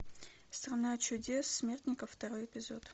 страна чудес смертников второй эпизод